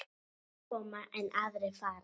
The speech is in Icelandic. Menn koma, en aðrir fara.